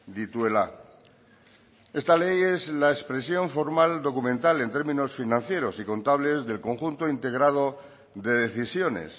dituela esta ley es la expresión formal documental en términos financieros y contables del conjunto integrado de decisiones